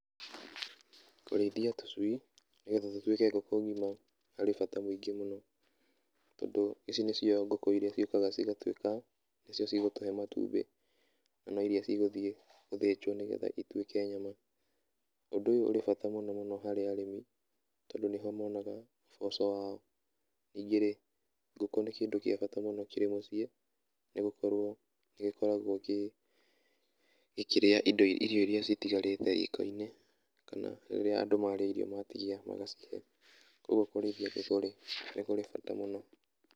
Kũrĩithia tũcui, nĩgetha tũtuĩke ngũkũ ng'ima harĩ bata mũngĩ mũno. Tondũ ici nĩcio ngũkũ irĩa ciokaga cigatuĩka nĩcio cigũtũhe matumbi na no irĩa ciguthiĩ gũthĩnjwo, nĩgetha ituĩke nyama. Ũndũ ũyũ ũribata mũno mũno harĩ arĩmi, tondũ nĩho monaga ũboco wao. Ningĩ rĩ ngũkũ nĩ kĩndũ gĩa bata kĩrĩ mũciĩ, nĩ gũkorwo nĩgĩkoragwo gĩkĩrĩa irio irĩa citigarĩte riko-inĩ kana rĩrĩa andũ marĩa irio matigia magacihe. Ũguo kũrĩithia ngũkũ-rĩ nĩ kũrĩ bata mũno.